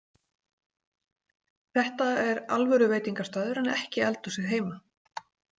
Þetta er alvöru veitingastaður en ekki eldhúsið heima